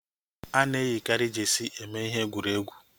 Ana eyikari jeesi eme ihe egwuregwu